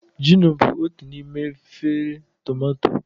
Gino bụ otu n'ime efere tumato.